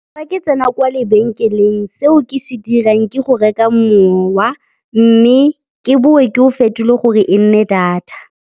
Fa ke tsena kwa lebenkeleng seo ke se dirang ke go reka mowa mme ke bowe ke o fetole gore e nne data.